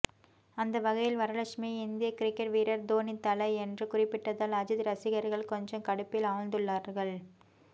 அந்த வகையில் வரலட்சுமி இந்திய கிரிக்கெட் வீரர் தோனி தல என்று குறிப்பிட்டதால் அஜித் ரசிகர்கள் கொஞ்சம் கடுப்பில் ஆழ்ந்துள்ளார்கள்